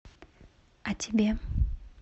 а тебе